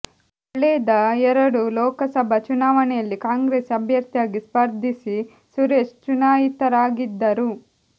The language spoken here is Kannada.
ಕಳೆದ ಎರಡೂ ಲೋಕಸಭಾ ಚುನಾವಣೆಯಲ್ಲಿ ಕಾಂಗ್ರೆಸ್ ಅಭ್ಯರ್ಥಿಯಾಗಿ ಸ್ಪರ್ಧಿಸಿ ಸುರೇಶ್ ಚುನಾಯಿತರಾಗಿದ್ದರು